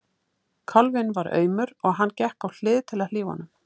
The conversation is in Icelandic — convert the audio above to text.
Kálfinn var aumur og hann gekk á hlið til að hlífa honum.